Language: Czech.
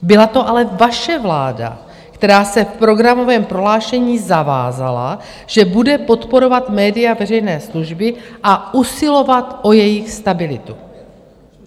Byla to ale vaše vláda, která se v programovém prohlášení zavázala, že bude podporovat média veřejné služby a usilovat o jejich stabilitu.